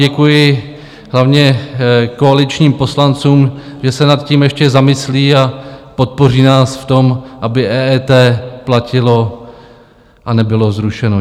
Děkuji hlavně koaličním poslancům, že se nad tím ještě zamyslí a podpoří nás v tom, aby EET platilo a nebylo zrušeno.